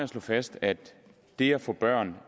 slå fast at det at få børn